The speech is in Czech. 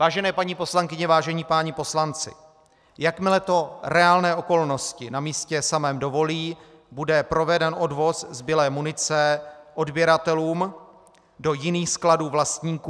Vážené paní poslankyně, vážení páni poslanci, jakmile to reálné okolnosti na místě samém dovolí, bude proveden odvoz zbylé munice odběratelům do jiných skladů vlastníků.